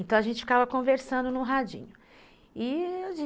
Então a gente ficava conversando no radinho, e...